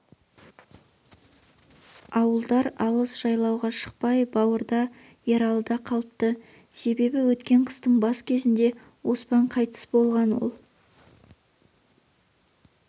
ауылдар алыс жайлауға шықпай бауырда ералыда қалыпты себебі өткен қыстың бас кезінде оспан қайтыс болған ол